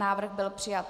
Návrh byl přijat.